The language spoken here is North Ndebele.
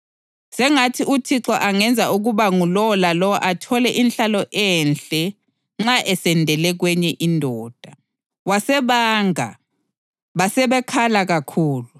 Sengathi uThixo angenza ukuba ngulowo lalowo athole inhlalo enhle nxa esendele kwenye indoda.” Wasebanga, basebekhala kakhulu